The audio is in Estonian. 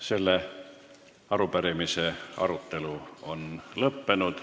Selle arupärimise arutelu on lõppenud.